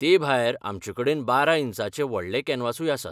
तेभायर आमचेकडेन बारा इंचांचे व्हडले कॅनवासूय आसात.